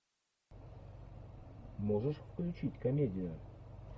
можешь включить комедию